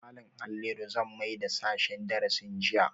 Malam Halliru zan maida sashen darasin jinya